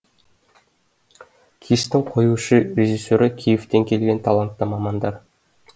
кештің қоюшы режиссері киевтен келген талантты мамандар